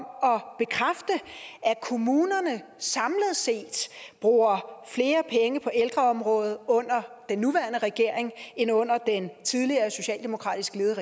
at bekræfte at kommunerne samlet set bruger flere penge på ældreområdet under den nuværende regering end under den tidligere socialdemokratisk ledede